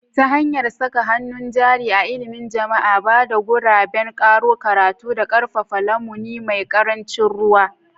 Ta hanyar saka hannun jari a ilimin jama'a, ba da guraben karo karatu, da ƙarfafa lamuni mai ƙarancin ruwa.